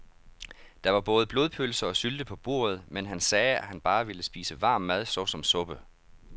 Der var både blodpølse og sylte på bordet, men han sagde, at han bare ville spise varm mad såsom suppe.